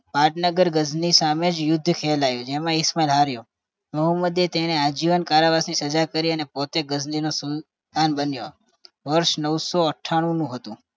પાટનગર ગજની સામે યુદ્ધ ખેલાયું જેમાં ઈશમાલ હારિયો મોહમ્મદ તેને આજીવન કારાવાસની સજા કરી પોતે ગજની નો સુલતાન બનીયો વર્ષ નવસો અઠાણું હતું